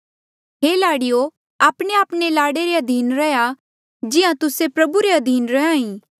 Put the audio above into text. हे लाड़ीयो आपणेआपणे लाड़े रे अधीन रैहया जिहां तुस्से प्रभु रे अधीन रैहे